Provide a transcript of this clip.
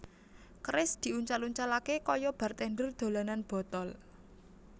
Keris diuncal uncalaké kaya bartender dolanan botol